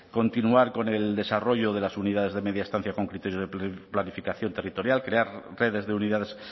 continuar con el desarrollo de las unidades de media estancia con criterios de planificación territorial crear redes de unidades